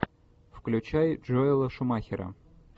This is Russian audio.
включай джоэла шумахера